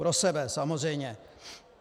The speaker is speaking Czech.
Pro sebe samozřejmě.